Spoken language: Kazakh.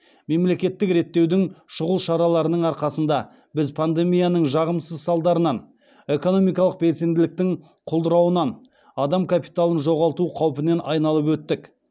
мемлекеттік реттеудің шұғыл шараларының арқасында біз пандемияның жағымсыз салдарынан экономикалық белсенділіктің құлдырауынан адам капиталын жоғалту қаупінен айналып өттік